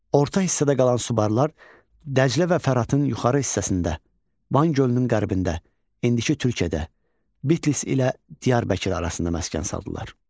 Orta hissədə qalan Subarlar Dəclə və Fəratın yuxarı hissəsində, Van gölünün qərbində, indiki Türkiyədə, Bitlis ilə Diyarbəkir arasında məskən saldılar.